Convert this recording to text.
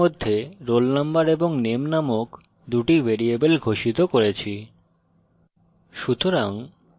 তাই student class মধ্যে roll number এবং name নামক দুটি ভ্যারিয়েবল ঘোষিত করি